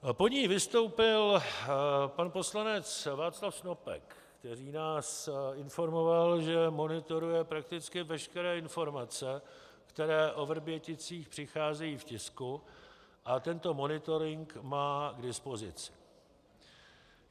Po ní vystoupil pan poslanec Václav Snopek, který nás informoval, že monitoruje prakticky veškeré informace, které o Vrběticích přicházejí v tisku, a tento monitoring má k dispozici.